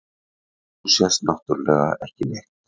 Og nú sést náttúrlega ekki neitt.